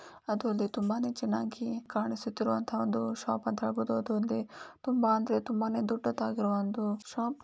ಅದು ಅಲ್ದೆ ತುಂಬಾನೇ ಚೆನ್ನಾಗಿ ಕಾಣಿಸುತ್ತಿದೆ ಶಾಪ ಅಂತ ಹೇಳಬಹುದು ಅಥವಾ ತುಂಬಾ ಅಂದ್ರೆ ತುಂಬಾ ದೊಡ್ಡದಾಗಿರುವ ಶಾಪ್ .